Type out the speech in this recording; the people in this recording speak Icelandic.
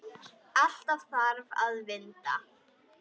Allt þarf að vinda.